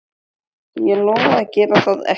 Ég lofaði að gera það ekki.